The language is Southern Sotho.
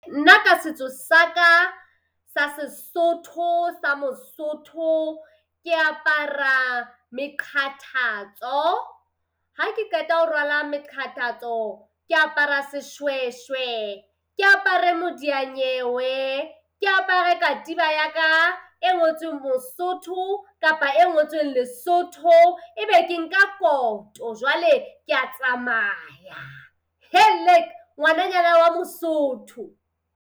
Nna ka setso sa ka sa Sesotho sa Mosotho ke apara meqathatso. Ha ke qeta ho rwala meqathatso ke apara seshweshwe, ke apare modia-nyewe, ke apare katiba ya ka e ngotsweng Mosotho kapa e ngotsweng Lesotho ebe ke nka koto jwale kea tsamaya. Ngwananyana wa Mosotho.